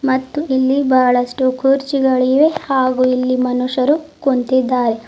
ಮತ್ತು ಇಲ್ಲಿ ಬಹಳಷ್ಟು ಕುರ್ಚಿಗಳಿವೆ ಹಾಗು ಇಲ್ಲಿ ಮನುಷ್ಯರು ಕುಂತಿದ್ದಾರೆ.